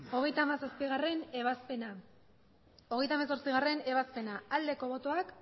hogeita hamazazpigarrena ebazpena hogeita hemezortzigarrena ebazpena aldeko botoak